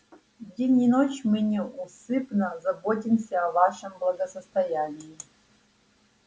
день и ночь мы неусыпно заботимся о вашем благосостоянии